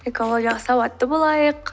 экологиялық сауатты болайық